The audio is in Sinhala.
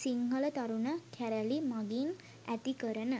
සිංහල තරුණ කැරලි මගින් ඇති කරන